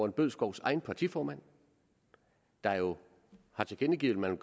bødskovs egen partiformand der jo har tilkendegivet at man